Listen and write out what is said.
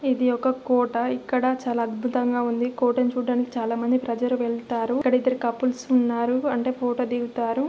ఇధి ఒక కోట ఇక్కడ చాలా అధ్బుతం గ ఉంది కోటాని చూడటానికి చాలా మంది ప్రజలు వెళ్తారు ఇక్కడ ఇద్ధరు కపుల్స్ ఉన్నారు అంటే ఫోటోస్ ధిగుతారు.